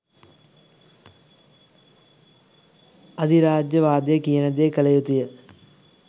අධිරාජ්‍යවාදය කියන දේ කළ යුතුය